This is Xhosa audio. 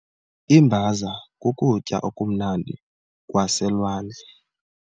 Iimbaza kukutya okumnandi kwaselwandle.